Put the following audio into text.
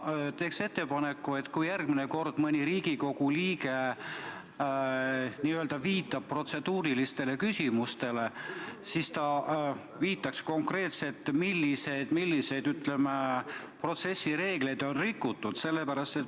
Ma teen ettepaneku, et kui järgmine kord mõni Riigikogu liige n-ö viitab protseduurilistele küsimustele, siis ta viitaks konkreetselt, milliseid, ütleme, protsessireegleid on rikutud.